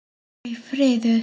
Aldrei friður.